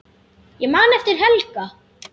Ég man eftir Helga.